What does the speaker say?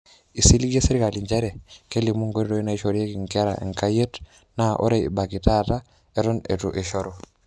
Esiligie serkali njere kelimu enkoitoi naishorieki nkera enkayit naa ore ebaiki tata eton etu eishoru.